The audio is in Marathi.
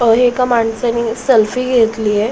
एका माणसानी सेल्फी घेतलीये.